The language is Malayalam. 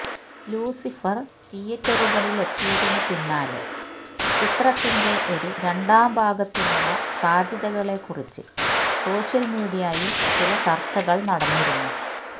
ലൂസിഫര് തീയേറ്ററുകളിലെത്തിയതിന് പിന്നാലെ ചിത്രത്തിന്റെ ഒരു രണ്ടാംഭാഗത്തിനുള്ള സാധ്യതകളെക്കുറിച്ച് സോഷ്യല് മീഡിയയില് ചില ചര്ച്ചകള് നടന്നിരുന്നു